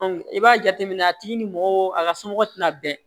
i b'a jateminɛ a tigi ni mɔgɔ a ka somɔgɔ tɛna bɛn